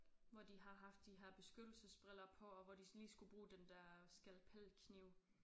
Hvor de har haft de her beskyttelsesbriller på og hvor de lige skulle bruge den der skalpelkniv